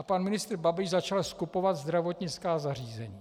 A pan ministr Babiš začal skupovat zdravotnická zařízení.